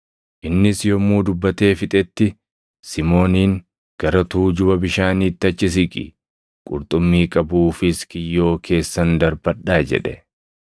Innis yommuu dubbatee fixetti Simooniin, “Gara tuujuba bishaaniitti achi siqi; qurxummii qabuufis kiyyoo keessan darbadhaa” jedhe.